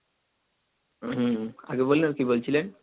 হম আগে বললেন কি বলছিলেন?